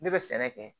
Ne bɛ sɛnɛ kɛ